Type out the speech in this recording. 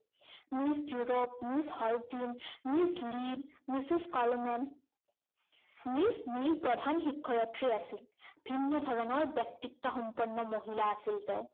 Miss ড্যুৰপ, Miss হলটি, Miss Neil, Mrs Coleman Miss Neil প্ৰধান শিক্ষায়ত্ৰী আছিল। ভিন্ন ধৰণৰ ব্যক্তিত্বসম্পন্ন মহিলা আছিল তেওঁ।